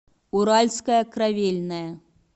уральская кровельная